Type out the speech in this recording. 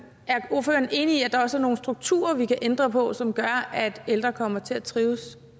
enig i at der også er nogle strukturer vi kan ændre på som kunne gøre at ældre kommer til at trives